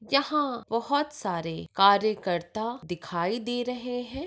यहा बहुत सारे कार्यकर्ता दिखाई दे रहे है।